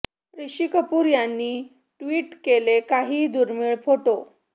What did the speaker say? ऋषी कपूर यांनी ट्विट केले काही दुर्मिळ फोटो